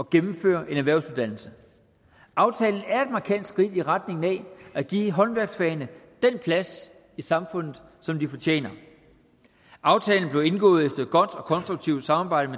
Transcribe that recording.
gennemføre en erhvervsuddannelse aftalen er et markant skridt i retning af at give håndværksfagene den plads i samfundet som de fortjener aftalen blev indgået efter et godt og konstruktivt samarbejde